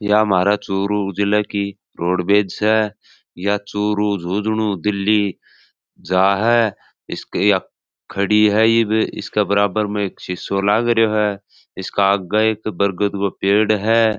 यह हमारा चूरू जिले की रोडबेज स यह चूरू झुंजणु दिल्ली जा है इसके खड़ी है ये इसका बराबर में शीसो लागरियो है इसका आगे एक बरगद का पेड़ है।